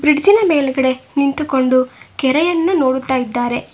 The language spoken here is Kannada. ಬ್ರಿಡ್ಜಿನ ಮೇಲ್ಗಡೆ ನಿಂತುಕೊಂಡು ಕೆರೆಯನ್ನು ನೋಡುತ್ತಿದ್ದಾರೆ.